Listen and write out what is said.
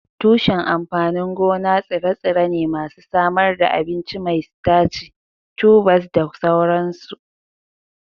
Tushen amfanin gona tsire-tsire ne masu samar da abinci mai sitaci, tubers da sauransu.